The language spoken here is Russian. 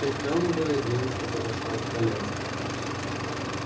прихрамывая девушка пошла к коляске